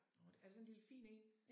Åh det er det sådan en lille fin en?